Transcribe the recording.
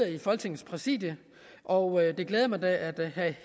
i folketingets præsidium og det glæder mig da at herre